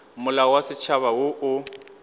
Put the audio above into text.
molao wa setšhaba wo o